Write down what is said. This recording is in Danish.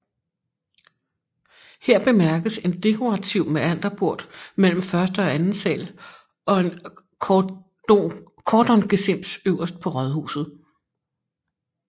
Her bemærkes en dekorativ mæanderbort mellem første og anden sal og en kordongesims øverst på huset